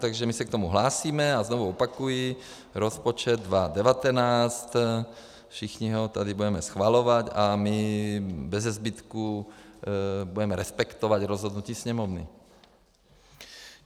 Takže my se k tomu hlásíme a znovu opakuji: rozpočet 2019, všichni ho tady budeme schvalovat a my bezezbytku budeme respektovat rozhodnutí Sněmovny.